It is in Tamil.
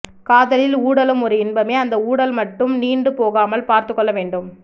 காதலில் ஊடலும் ஒரு இன்பமே அந்த ஊடல் மட்டும் நீண்டு போகாமல் பார்த்து கொள்ள வேண்டும்